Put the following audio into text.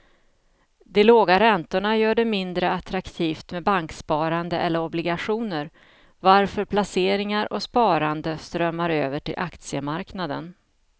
De låga räntorna gör det mindre attraktivt med banksparande eller obligationer varför placeringar och sparande strömmar över till aktiemarknaden.